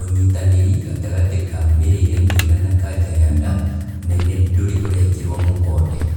ũnyitanĩri gatagatĩ ka mĩrĩre mĩega na kanja ya nda nene ndũrĩ ũrekĩrwo mũkonde